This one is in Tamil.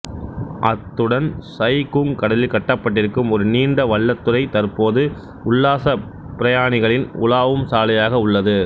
அத்துடன் சயி குங் கடலில் கட்டப்பட்டிருக்கும் ஒரு நீண்ட வள்ளத்துறை தற்போது உல்லாசப் பிரயாணிகளின் உலாவும் சாலையாக உள்ளது